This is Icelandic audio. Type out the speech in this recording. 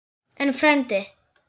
En, frændi